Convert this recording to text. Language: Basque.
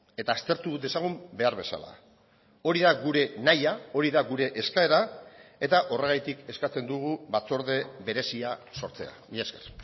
eta aztertu dezagun behar bezala hori da gure nahia hori da gure eskaera eta horregatik eskatzen dugu batzorde berezia sortzea mila esker